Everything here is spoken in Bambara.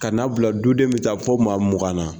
Ka na bila du den be taa fo maa mugan na.